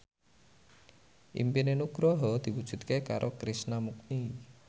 impine Nugroho diwujudke karo Krishna Mukti